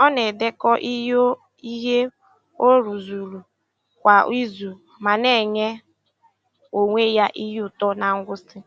Ọ na-edekọ ihe ọ ihe ọ rụzuru kwa izu ma na-enye onwe ya ihe ụtọ na ngwụsị.